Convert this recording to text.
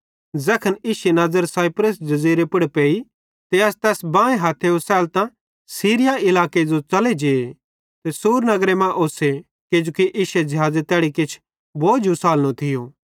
ज़ैखन इश्शी नज़र साइप्रस जज़ीरे पुड़ पेइ त अस तैस बांए हथ्थे ओसैलतां सीरिया इलाके जो च़ले जे सूर नगरे मां ओस्से किजोकि इश्शे ज़िहाज़े तैड़ी किछ बोझ उसालनो थियो